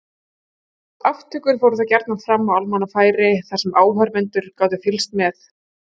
Aftökur fóru þá gjarnan fram á almannafæri þar sem áhorfendur gátu fylgst með.